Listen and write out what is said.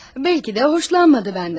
Bəlkə də xoşlanmadı məndən.